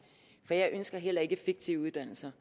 for jeg ønsker heller ikke fiktive uddannelser